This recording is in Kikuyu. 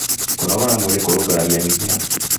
Kũnogora mwĩrĩ kũrũngaragĩrĩrĩa mĩkiha